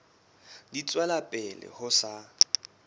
di tswela pele ho sa